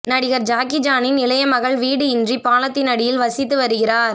நடிகர் ஜாக்கிசானின் இளையமகள் வீடு இன்றி பாலத்தின் அடியில் வசித்து வருகிறார்